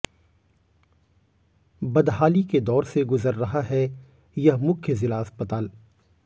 बदहाली के दौर से गुजर रहा है यह मुख्य जिला अस्पताल